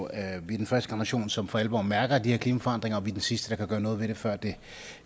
er den første generation som for alvor mærker de her klimaforandringer og vi er den sidste der kan gøre noget ved det før det